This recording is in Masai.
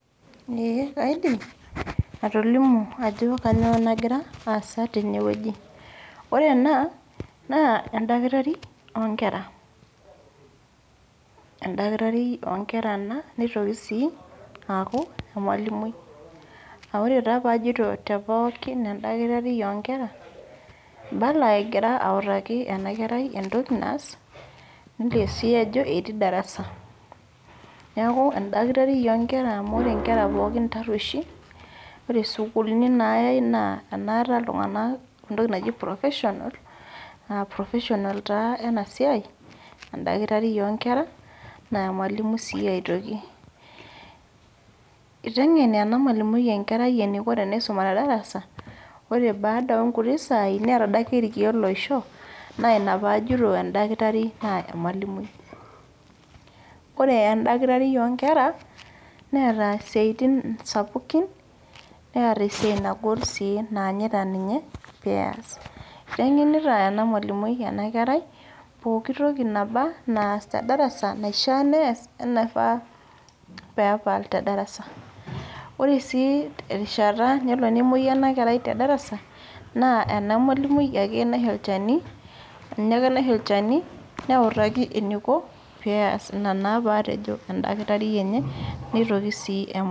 Ee kaidim, atolimu ajo kanyioo nagira, aasa tenewueji. Ore ena, naa edakitari onkera. Edakitari onkera ena, nitoki si aku emalimui. Ah ore taa pajito tepookin edakitari onkera, ibala egita autaki enakerai entoki naas, nelio si ajo etii darasa. Neeku edakitari onkera amu ore nkera pookin tarrueshi, ore sukuulini nayai naa enaata iltung'anak entoki naji professional, professional taa enasiai, edakitari onkera, na emalimui si aitoki. Iteng'en ena malimui enkerai eniko tenisuma tedarasa, ore baada onkuti saai, neeta adake irkeek loisho, naa ina pajito edakitari naa emalimui. Ore edakitari onkera, neeta isiaitin sapukin, neeta esiai nagol si naanyita ninye, peas. Iteng'enita ena malimui enakerai, pooki toki naba naas tedarasa, naishaa nees onaifaa pepal tedarasa. Ore si erishata nelo nemoyu enakerai tedarasa, naa ena malimui ake naisho olchani, ninye ake naisho olchani neutaki eniko, pees. Ina naa patejo edakitari enye, nitoki si